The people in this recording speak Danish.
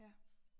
Ja